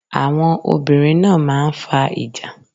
Àwọn obìnrin náà máa ń fa ìjà.